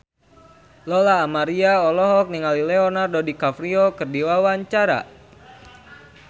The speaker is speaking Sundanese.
Lola Amaria olohok ningali Leonardo DiCaprio keur diwawancara